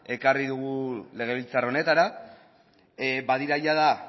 ekarri dugu legebiltzar honetara badira jada